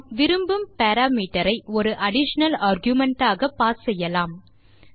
நாம் விரும்பும் பாராமீட்டர் ஐ ஒரு அடிஷனல் ஆர்குமென்ட் ஆக பாஸ் செய்யலாம்